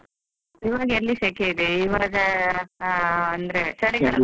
ಇವಾಗ ಎಲ್ಲಿ ಶೆಕೆ ಇದೆ, ಇವಾಗ ಅ ಅಂದ್ರೆ ಚಳಿಗಾಲ.